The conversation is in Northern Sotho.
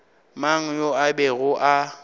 mang yo a bego a